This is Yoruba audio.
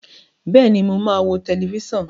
Bẹ́ẹ̀ni, mo máa wo tẹlifíṣàn.